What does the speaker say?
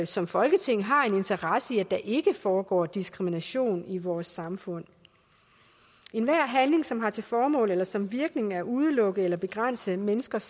som folketing har en interesse i at der ikke foregår diskrimination i vores samfund enhver handling som har til formål eller som virkning at udelukke nogle eller begrænse menneskers